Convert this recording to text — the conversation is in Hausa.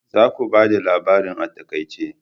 Za ku bada labarin a taƙaice.